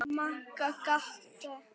Magga gapti.